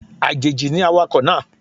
Àjèjì ni awakọ̀ náà